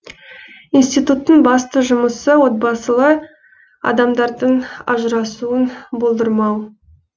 институттың басты жұмысы отбасылы адамдардың ажырасуын болдырмау